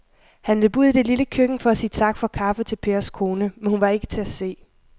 Han løb ud i det lille køkken for at sige tak for kaffe til Pers kone, men hun var ikke til at se.